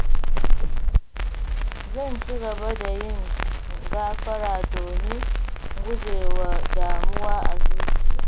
Zan ci gaba da yin gafara domin gujewa damuwa a zuciyata.